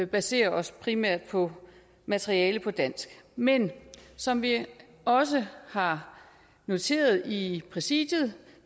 basere os primært på materiale på dansk men som vi også har noteret i præsidiet